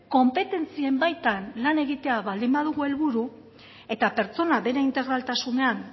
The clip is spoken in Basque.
konpetentzien baitan lan egitea baldin badugu helburu eta pertsona bere integraltasunean